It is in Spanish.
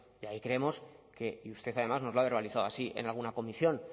y ahí creemos y usted además nos lo ha verbalizado así en alguna comisión